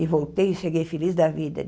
E voltei e cheguei feliz da vida.